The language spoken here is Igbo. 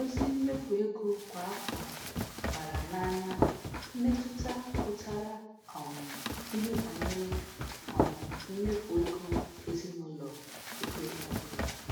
Ozi mmefu ego kwa afọ gbara n'anya mmetụta pụtara um ihe banyere um mmefu ego ezinụlọ oge ọbụla.